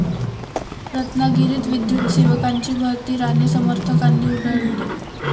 रत्नागिरीत विद्युतसेवकांची भरती राणे समर्थकांनी उधळली